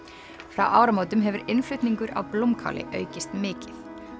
frá áramótum hefur innflutningur á blómkáli aukist mikið